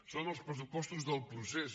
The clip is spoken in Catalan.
són els pressupostos del procés